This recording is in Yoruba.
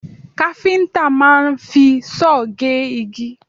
Káfíńtà máa ń fi sọ́ọ̀ gégi